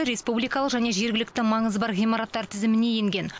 республикалық және жергілікті маңызы бар ғимараттар тізіміне енген